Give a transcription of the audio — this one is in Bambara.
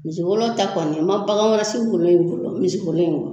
Misi wolo ta kɔni n ma bagan wɛrɛ si wolo ye wolo fɔlɔ misiwolo in kɔ